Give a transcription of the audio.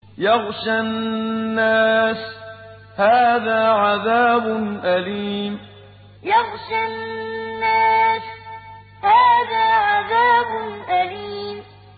يَغْشَى النَّاسَ ۖ هَٰذَا عَذَابٌ أَلِيمٌ يَغْشَى النَّاسَ ۖ هَٰذَا عَذَابٌ أَلِيمٌ